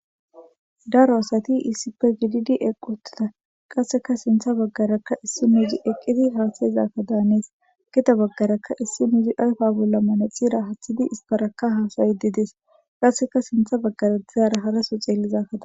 Daro asati iisipe gididi equtita qasseka sintha baggarakka issi muuzi eqqidi haasayizakka daanees gita baggaraka issi muzi ayfa bolla mane xira hathidi isparaka haasayy didees qasseka sintha baggara dizaara haraso xeellizakkada.